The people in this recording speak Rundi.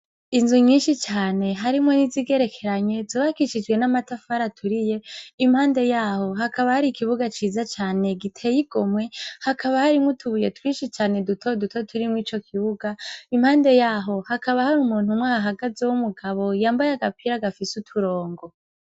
Inzu nyinshi cane harimwo n'izigerekeranye zobakishijwe n'amatafara turiye impande yaho hakaba hari ikibuga ciza cane giteye igomwe hakaba hari mwoutubuye twishi cane duto duto turimwo ico kibuga impande yaho hakaba hari umuntu mwa hagaze w'umugabo yambaye agapira agafise uturongo.